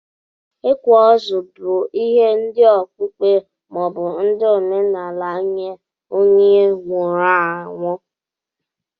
ikwa ozu bu ihe ndi okpukpe ma obu ndi omenala nye onye nwụrụ anyụ.